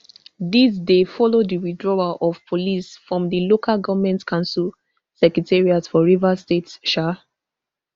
dis dey follow di withdrawal of police from di local goment council secretariats for rivers state um